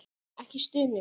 Ekki stunu.